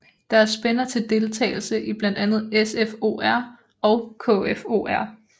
Der er spænder til deltagelse i blandt andet SFOR og KFOR